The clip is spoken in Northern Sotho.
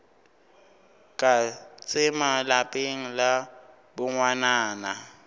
ya tsema lapeng la bongwanana